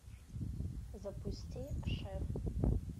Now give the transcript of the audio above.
запусти шеф